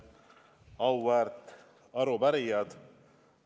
Auväärt arupärijad!